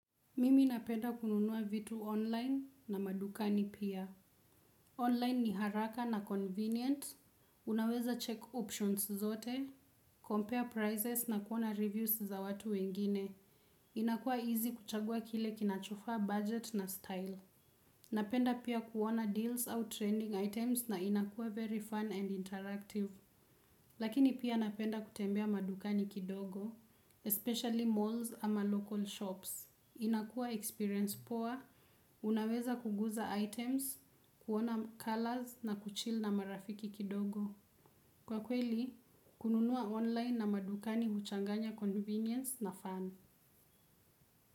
Mimi napenda kununua vitu online na madukani pia. Online ni haraka na convenient, unaweza check options zote, compare prices na kuona reviews za watu wengine. Inakuwa easy kuchagua kile kinachofaa budget na style. Napenda pia kuona deals au trending items na inakua very fun and interactive. Lakini pia napenda kutembea madukani kidogo, especially malls ama local shops. Inakua experience poa, unaweza kuguza items, kuona colors na kuchil na marafiki kidogo. Kwa kweli kununua online na madukani huchanganya convinience na fun.